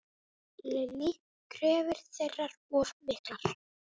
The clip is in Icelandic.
Lillý: Kröfur þeirra of miklar?